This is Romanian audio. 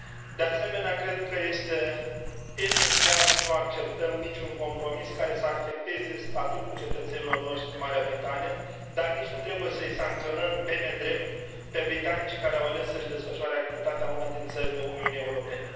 De asemenea, cred că este esențial să nu acceptăm nici un compromis care să afecteze statutul cetățenilor noștri în Marea Britanie, dar nici nu trebuie să i sancționăm pe nedrept pe britanicii care au ales să și desfășoare activitatea în una din țările Uniunii Europene.